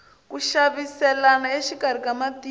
ku xaviselana exikarhi ka matiko